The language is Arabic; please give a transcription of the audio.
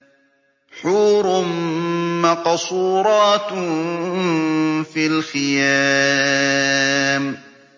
حُورٌ مَّقْصُورَاتٌ فِي الْخِيَامِ